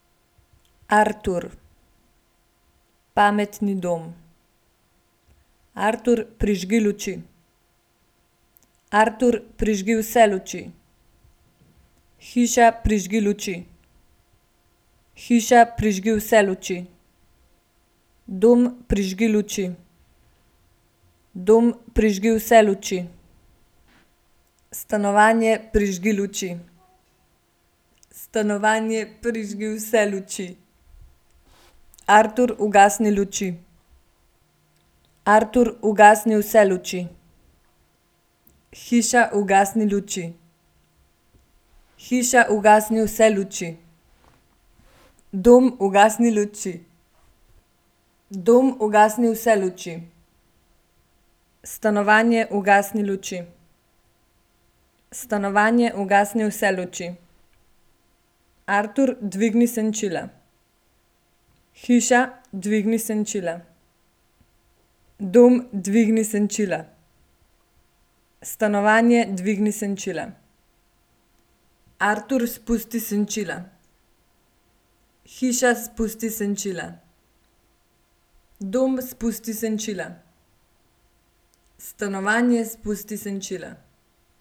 Artur. Pametni dom. Artur, prižgi luči. Artur, prižgi vse luči. Hiša, prižgi luči. Hiša, prižgi vse luči. Dom, prižgi luči. Dom, prižgi vse luči. Stanovanje, prižgi luči. Stanovanje, prižgi vse luči. Artur, ugasni luči. Artur, ugasni vse luči. Hiša, ugasni luči. Hiša, ugasni vse luči. Dom, ugasni luči. Dom, ugasni vse luči. Stanovanje, ugasni luči. Stanovanje, ugasni vse luči. Artur, dvigni senčila. Hiša, dvigni senčila. Dom, dvigni senčila. Stanovanje, dvigni senčila. Artur, spusti senčila. Hiša, spusti senčila. Dom, spusti senčila. Stanovanje, spusti senčila.